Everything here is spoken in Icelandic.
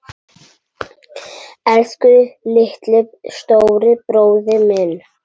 Elsku litli, stóri bróðir minn.